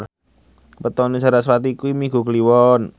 wetone sarasvati kuwi Minggu Kliwon